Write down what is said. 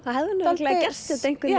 örugglega gert þetta einhvern